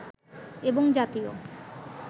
এবং জাতীয়